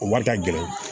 O wari ka gɛlɛn